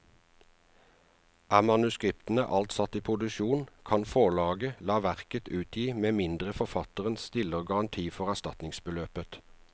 Er manuskriptet alt satt i produksjon, kan forlaget la verket utgi med mindre forfatteren stiller garanti for erstatningsbeløpet.